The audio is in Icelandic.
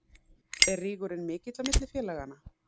Er rígurinn mikill á milli félaganna?